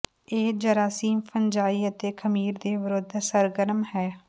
ਇਹ ਜਰਾਸੀਮ ਫੰਜਾਈ ਅਤੇ ਖ਼ਮੀਰ ਦੇ ਵਿਰੁੱਧ ਸਰਗਰਮ ਹੈ